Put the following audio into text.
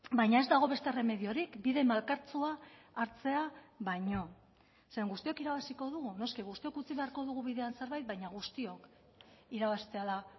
baina ez dago beste erremediorik bide malkartsua hartzea baino zeren guztiok irabaziko dugu noski guztiok utzi beharko dugu bidean zerbait baina guztiok irabaztea da